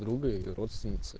друга или родственница